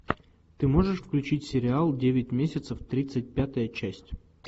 ты можешь включить сериал девять месяцев тридцать пятая часть